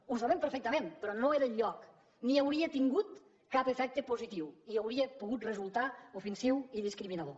ho sabem perfectament però no era el lloc ni hauria tingut cap efecte positiu i hauria pogut resultar ofensiu i discriminador